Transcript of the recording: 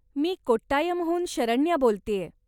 मी कोट्टायमहून शरण्या बोलतेय.